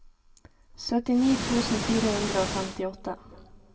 syttini tusen fire hundre og femtiåtte